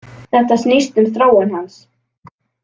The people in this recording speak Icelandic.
Þetta snýst um þróun hans.